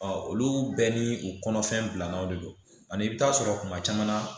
olu bɛɛ ni u kɔnɔfɛn bilamaw de don ani i bi taa sɔrɔ kuma caman na